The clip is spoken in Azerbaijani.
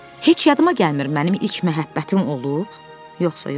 Heç yadıma gəlmir mənim ilk məhəbbətim olub, yoxsa yox.